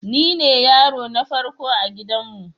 Nine yaro na farko a gidanmu.